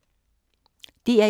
DR1